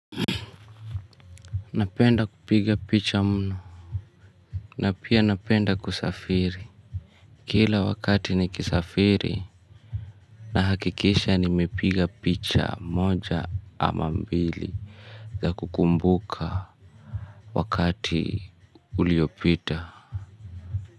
Napenda kupiga picha mno. Na pia napenda kusafiri. Kila wakati nikisafiri na hakikisha nimepiga picha moja ama mbili za kukumbuka wakati uliopita.